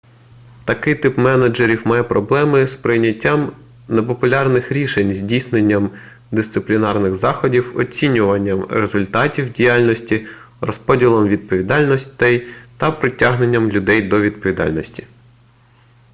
такий тип менеджерів має проблеми з прийняттям непопулярних рішень здійсненням дисциплінарних заходів оцінюванням результатів діяльності розподілом відповідальності та притягненням людей до відповідальності